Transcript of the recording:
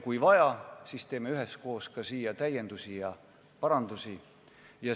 Kui vaja, siis teeme üheskoos ka täiendusi ja parandusi.